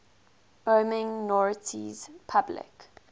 wyoming notaries public